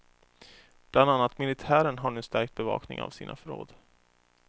Bland annat militären har nu stärkt bevakningen av sina förråd.